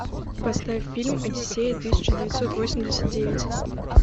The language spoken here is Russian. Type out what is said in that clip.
поставь фильм одиссея тысяча девятьсот восемьдесят девять